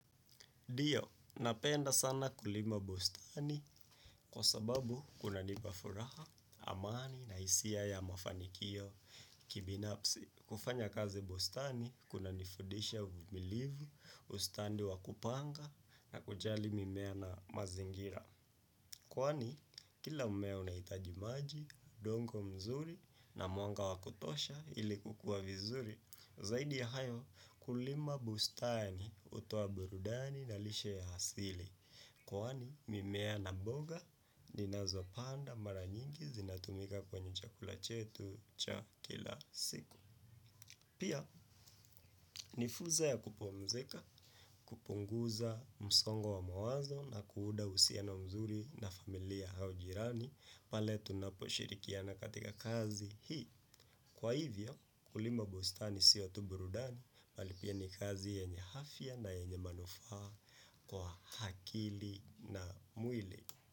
Dio, napenda sana kulima bustani kwa sababu kuna nipa furaha, amani na hisia ya mafanikio kibinafsi. Kufanya kazi bustani kuna nifudisha uvumilivu, ustandi wa kupanga na kujali mimea na mazingira. Kwani kila mmea unahitaji maji undongo mzuri na mwanga wa kutosha ili kukua vizuri zaidi ya hayo kulima bustani hutoa burudani na lishe ya asili. Kwaani, mimea na mboga, ninazo panda maranyingi zinatumika kwenye chakula chetu cha kila siku. Pia nifuza ya kupomzika, kupunguza msongo wa mawazo na kuuda uhusiano mzuri na familia haujirani paletu na po shirikiana katika kazi hii. Kwa hivyo kulima bustani sio tu burudani bali pia ni kazi yenye hafia na yenye manufaa kwa hakili na mwili.